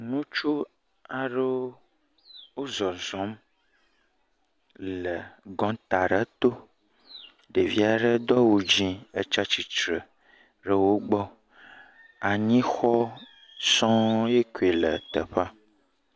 Ŋutsu aɖewo, wozɔzɔm le gɔŋta ɖe to. Ɖevi aɖe do awu dzɛ̃, etsa tsitsre ɖe wogbɔ. Anyixɔ sɔŋ, ya koe le teƒea.